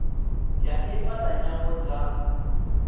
ya ifa la nyambo dza